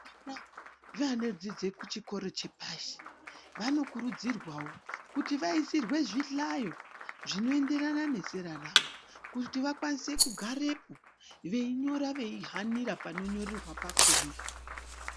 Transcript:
Nevano dzidza kuzvikora zvepashi vanokurudzirwawo kuti vaisirwewo zvihlayo zvinoenderana nezera ravo kuti vakwanise kugarepo veinyora veihanira panonyorerwa pakona.